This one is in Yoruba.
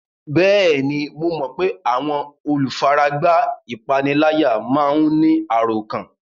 Bẹ́ẹ̀ni, mo mọ pé àwọn olùfaragbá ìpániláyà máa ń ní àròkán